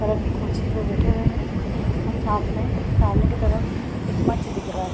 Colour के खुर्शी पे बेठे हुए हैं और साथ में सामने के तरफ एक मंच दिख रहा।